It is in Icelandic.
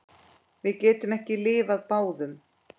Við getum ekki lifað báðum.